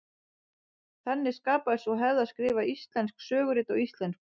Þannig skapaðist sú hefð að skrifa íslensk sögurit á íslensku.